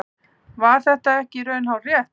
Var það ekki í raun hárrétt?